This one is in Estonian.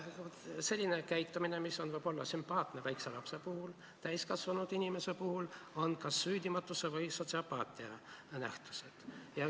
Selline käitumine, mis on võib-olla sümpaatne väikese lapse puhul, on täiskasvanud inimese puhul kas süüdimatuse või sotsiopaatia ilming.